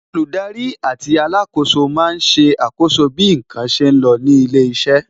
Olùdarí àti alákòóso máa ń ṣe àkọ́so bí n kan ṣe lọ ní ilé iṣẹ́